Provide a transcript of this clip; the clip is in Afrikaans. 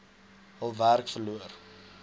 hul werk verloor